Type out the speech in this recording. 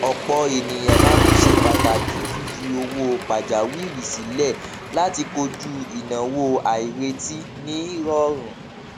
ọpọ ènìyàn máa ń ṣe pàtàkì fífi owó pajawìrí sílẹ láti koju ináwó àìrètí ní rọrùn